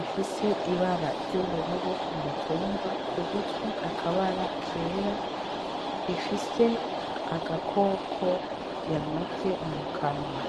ifise ibara ry'ubururu kumutumba kugutwi akabara kera ifise agakoko yanovye mukanwa .